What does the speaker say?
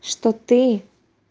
что ты